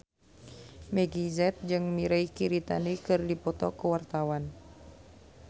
Meggie Z jeung Mirei Kiritani keur dipoto ku wartawan